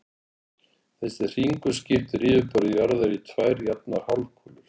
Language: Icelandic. Þessi hringur skiptir yfirborði jarðar í tvær jafnar hálfkúlur.